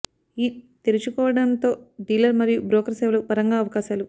ఈ తెరుచుకోవడంతో డీలర్ మరియు బ్రోకర్ సేవలు పరంగా అవకాశాలు